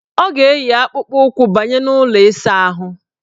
Ọ ga-eyi akpụkpụụkwụ banye n' ụlọ ịsaahụ.